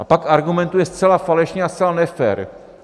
A pak argumentuje zcela falešně a zcela nefér.